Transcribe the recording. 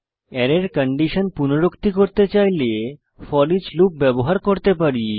অ্যারের কন্ডিশন পুনরুক্তি করতে চাইলে ফোরিচ লুপ ব্যবহার করতে পারি